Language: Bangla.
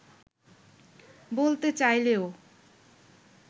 বলতে চাইলেও